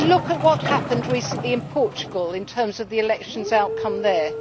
Just look at what happened recently in Portugal in terms of the election outcome there!